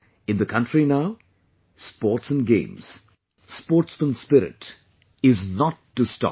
In the country now, Sports and Games, sportsman spirit is not to stop